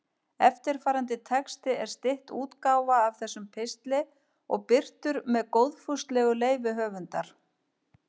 Eftirfarandi texti er stytt útgáfa af þessum pistli og birtur með góðfúslegu leyfi höfundar.